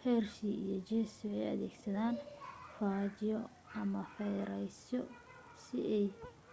hershey iyo chase waxay adeegsadeen faajyo ama fayrasyo si ay